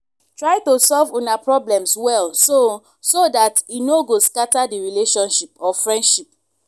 try to solve una problems well so so dat e no go scatter di relationship or friendship